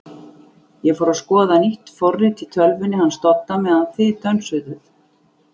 ég fór að skoða nýtt forrit í tölvunni hans Dodda meðan þið dönsuðuð.